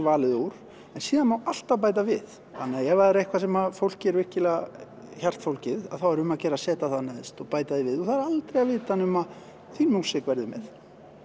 valið úr en síðan má alltaf bæta við þannig að ef það er eitthvað sem fólki er virkilega hjartfólgið þá er um að gera að setja það neðst og bæta því við og það er aldrei að vita nema þín músík verði með